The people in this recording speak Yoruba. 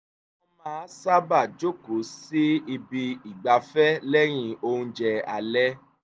wọ́n máa sábáà jókòó sí ibi ìgbafẹ́ lẹ́yìn oúnjẹ alẹ́